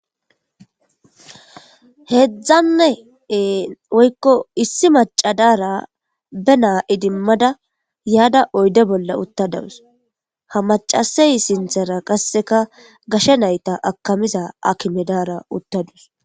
Issi maca Dara be na idimada yada oyde bolla utadawus ha macasey sinthara qaseka gashe nayti akimiza akime dara utadus .